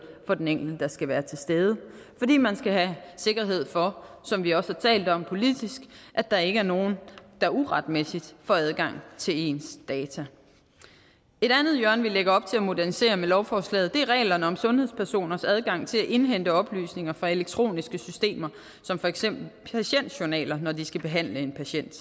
for den enkelte der skal være til stede fordi man skal have sikkerhed for som vi også har talt om politisk at der ikke er nogen der uretmæssigt får adgang til ens data et andet hjørne vi lægger op til at modernisere med lovforslaget er reglerne om sundhedspersoners adgang til at indhente oplysninger fra elektroniske systemer som for eksempel patientjournaler når de skal behandle en patient